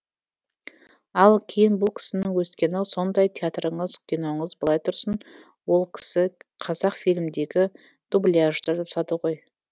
ал кейін бұл кісінің өскені сондай театрыңыз киноңыз былай тұрсын ол кісі қазақфильмдегі дубляжды жасады ғой